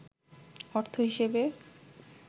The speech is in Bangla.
অর্থ হিসেবে